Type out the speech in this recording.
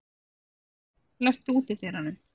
Kráka, læstu útidyrunum.